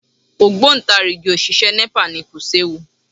Ògbóǹtarìgì òṣìṣẹ́ Nepa ni, kò séwu